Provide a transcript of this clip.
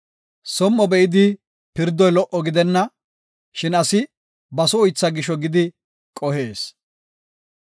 Som7o be7idi pirdoy lo77o gidenna; shin asi baso uytha gisho gidi qohees.